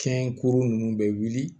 Kɛn kuru ninnu bɛ wuli